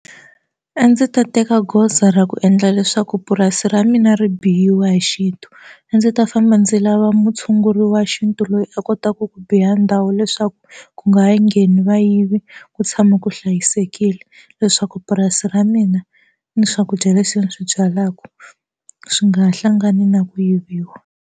A ndzi ta teka goza ra ku endla leswaku purasi ra mina ri biyiwa hi xintu a ndzi ta famba ndzi lava mutshunguri wa xintu loyi a kotaka ku biya ndhawu leswaku ku nga ha ngheni vayivi ku tshama ku hlayisekile leswaku purasi ra mina ni swakudya leswi ni swi byalaka swi nga ha hlangani na ku yiviwa.